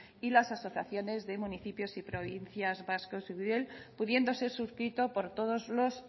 y las asociaciones de municipios y provincias vascos y eudel pudiendo ser suscrito por todos los